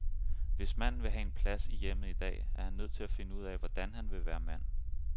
Hvis manden vil have en plads i hjemmet i dag, er han nødt til finde ud af, hvordan han vil være mand.